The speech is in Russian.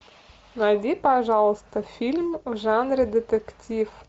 найди пожалуйста фильм в жанре детектив